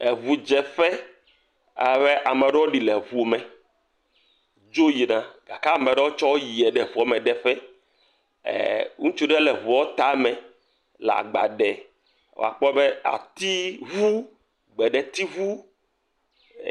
Ŋudzeƒe, ale be ame aɖewo ɖi le ŋu me dzo yina gake ame aɖewo tsɔ woyie ŋua me deƒe eer ŋutsu ɖe le ŋua tame le agba de wòakpɔ be atiŋu, gbeɖetiŋu.